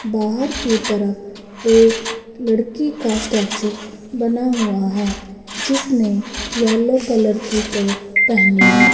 बाहर के तरफ एक लड़की का स्टेचू बना हुआ है जिसने येलो कलर की फ्रॉक पेहनी है।